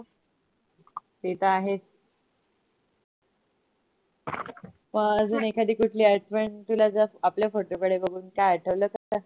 ते तर आहेच. अह अजू एखादी कुठली आठवण. तुला जर आपल्या photo कडे बघून काय आठवलं ,